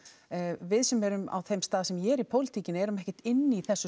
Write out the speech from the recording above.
við sem erum á þeim stað sem ég er í pólitíkinni erum ekkert inni í þessu